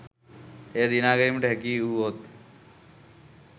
එය දිනා ගැනීමට හැකි වුවහොත්